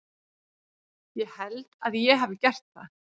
Ég held að ég hafi gert það.